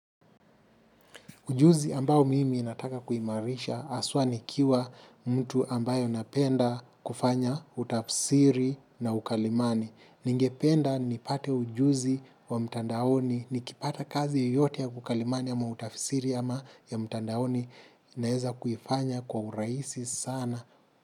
Ujuzi ambao mimi nataka kuimarisha haswa nikiwa mtu ambayo anapenda kufanya utafsiri na ukalimani. Ningependa ni pate ujuzi wa mtandaoni, ni kipata kazi yoyote ya ukalimani ama utafsiri ama ya mtandaoni naeza kuifanya kwa urahisi sana.